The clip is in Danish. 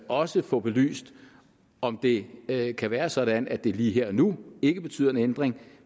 også få belyst om det kan kan være sådan at det lige her og nu ikke betyder en ændring